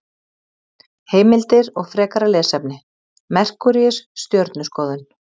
Heimildir og frekara lesefni: Merkúríus- Stjörnuskoðun.